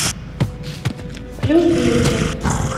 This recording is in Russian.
плюс бьюти